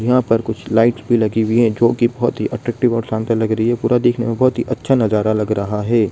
यहां पर कुछ लाइट्स भी लगी हुई है जो की बहुत ही अट्रैक्टिव और शानदार लग रही है पूरा देखने में बहुत अच्छा नजारा लग रहा है।